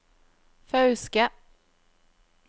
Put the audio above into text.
Fauske